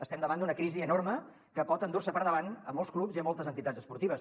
estem davant d’una crisi enorme que pot endur se per davant molts clubs i moltes entitats esportives